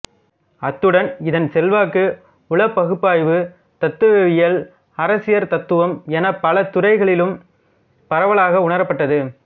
அத்துடன் இதன் செல்வாக்கு உளப்பகுப்பாய்வு தத்துவவியல் அரசியற் தத்துவம் எனப் பல துறைகளிலும் பரவலாக உணரப்பட்டது